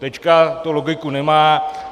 Teď to logiku nemá.